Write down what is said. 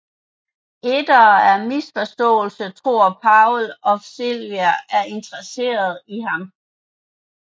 Etter en misforståelse tror også Powell at Sylvia er interesseret i ham